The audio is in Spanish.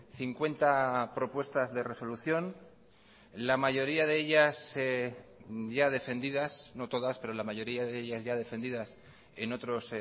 cincuenta propuestas de resolución la mayoría de ellas ya defendidas no todas pero la mayoría de ellas ya defendidas en otros